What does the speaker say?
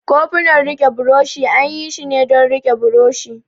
Kofunan rike buroshi an yi shi ne don rike buroshi.